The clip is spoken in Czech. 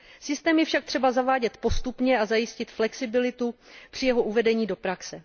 Systém je však třeba zavádět postupně a zajistit flexibilitu při jeho uvedení do praxe.